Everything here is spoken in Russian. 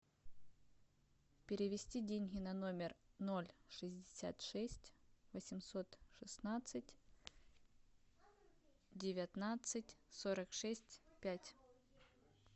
перевести деньги на номер ноль шестьдесят шесть восемьсот шестнадцать девятнадцать сорок шесть пять